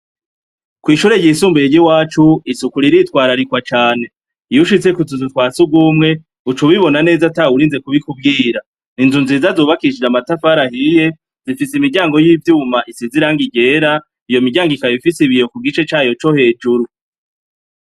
Kw'ishure ryisumbuye ryiwacu isuku riritwararikwa cane; iyushitse k'utuzu twasugwumwe uc'ubibona neza atawurinze kubikubwira. Inzu nziza zubakishije amatafari ahiye zifise imiryango y'ivyuma isize irangi ryera iyomiryango ikaba ifise ibiyo kugice cayo cohejuru.